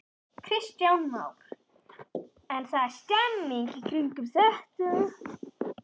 Kristján Már: En það er stemning í kringum þetta?